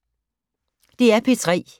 DR P3